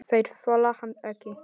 Þeir þola hann ekki.